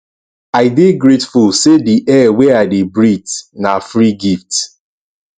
i dey grateful say di air wey i dey breathe na free gift